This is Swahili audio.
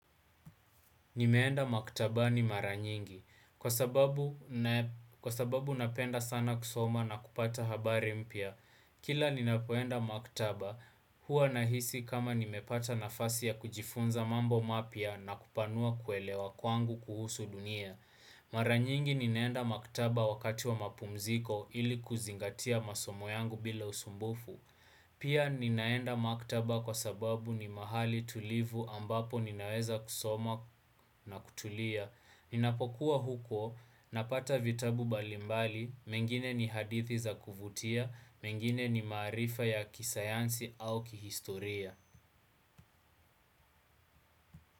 Nimeenda maktabani mara nyingi. Kwa sababu napenda sana kusoma na kupata habari mpya. Kila ninapoenda maktaba, hua nahisi kama nimepata nafasi ya kujifunza mambo mapya na kupanua kuelewa kwangu kuhusu dunia. Mara nyingi ninaenda maktaba wakati wa mapumziko ili kuzingatia masomo yangu bila usumbufu Pia, ninaenda maktaba kwa sababu ni mahali tulivu ambapo ninaweza kusoma na kutulia. Ninapokuwa huko, napata vitabu mbalimbali, mengine ni hadithi za kuvutia, mengine ni maarifa ya kisayansi au kihistoria.